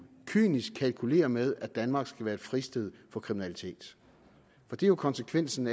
kynisk kalkulere med at danmark skal være et fristed for kriminalitet for det er jo konsekvensen